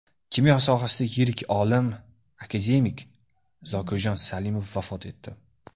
Kimyo sohasidagi yirik olim, akademik Zokirjon Salimov vafot etdi.